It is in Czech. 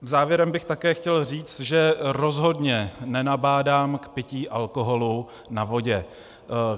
Závěrem bych také chtěl říct, že rozhodně nenabádám k pití alkoholu na vodě.